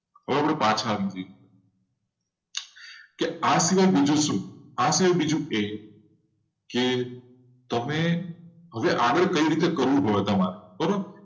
હવે આપણે પાછા આવી જઈએ. કે આ સિવાય બીજું શું? આ સિવાય બીજું એ કે તમે હવે આગળ કઈ રીતે કરવું પડે તમારે? બરોબર?